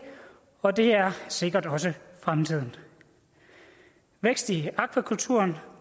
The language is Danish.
og det er sikkert også fremtiden vækst i akvakulturen